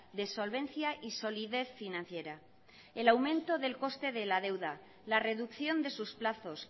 de solvencia y solidez financiera el aumento del coste de la deuda la reducción de sus plazos